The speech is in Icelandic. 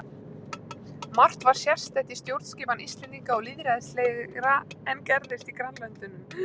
Margt var sérstætt í stjórnskipan Íslendinga og lýðræðislegra en gerðist í grannlöndunum.